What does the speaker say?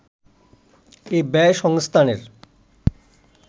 এ ব্যয় সংস্থানের